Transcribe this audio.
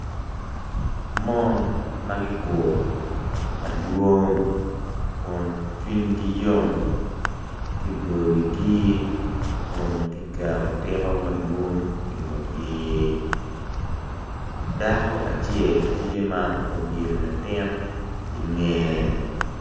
Man ma giguru madwong kun cwinygi yom kiboyo wigi kun guketo tiko madwong i ngutgi dako acel tye ma obyelo latin i ngeye.